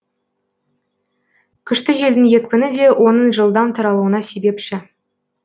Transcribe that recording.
күшті желдің екпіні де оның жылдам таралуына себепші